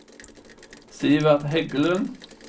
Sivert Heggelund